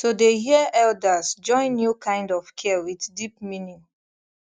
to dey hear elders join new kind of care with deep meaning